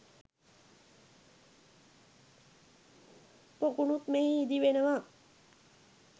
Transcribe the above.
පොකුණුත් මෙහි ඉදි වෙනවා